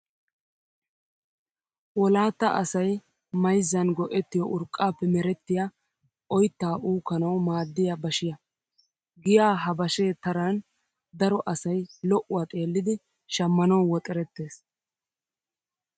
Wlaattaa asayi mayizzan go'ettiyoo urqqaappe merettiyaa oyittaa uukkanawu maaddiyaa bashiyaa. Giyaa ha bashe taran daro asayi lo''uwaa xeellidi shammanawu woxerettes.